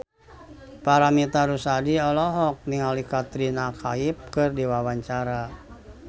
Paramitha Rusady olohok ningali Katrina Kaif keur diwawancara